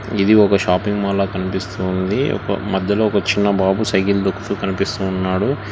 ఇది ఒక shopping mall లా కనిపిస్తూ ఉంది ఒక మధ్యలో ఒక చిన్న బాబు సైకిల్ తొక్కుతూ కనిపిస్తూ ఉన్నాడు.